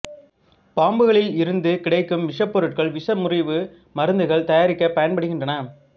பாம்புகளில் இருந்து கிடைக்கும் விஷப் பொருட்கள் விஷமுறிவு மருந்துகள் தயாரிக்கப் பயன்படுகின்றன